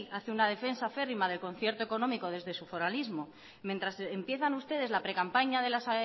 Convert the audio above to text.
hace una defensa acérrima del concierto económico desde su foralismo mientras empiezan ustedes la precampaña de las